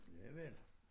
Ja vel